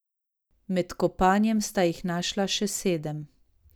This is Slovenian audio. Med kopanjem sta jih našla še sedem.